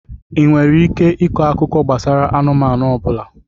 Ị nwere ike ịkọ akụkọ gbasara anụmanụ ọ bụla?